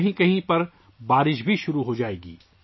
کہیں بارش بھی شروع ہو جائے گی